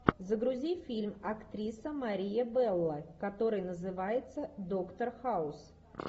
загрузи фильм актриса мария белло который называется доктор хаус